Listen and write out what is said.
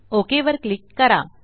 okay वर click करा